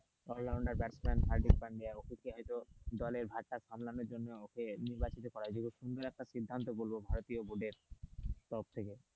all rounder batsman Hardik Pandya ওকে হয়তো দলের ভার টা সামলানোর জন্য ওকে নির্বাচিত করা হয়েছে সিদ্ধান্ত বলবো ভারতীয় বুকের সব থেকে,